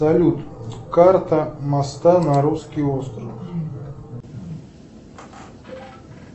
салют карта моста на русский остров